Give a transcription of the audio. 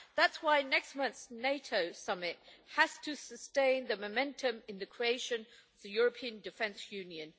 That's why next month's NATO summit has to sustain the momentum in the creation of the European Defence Union.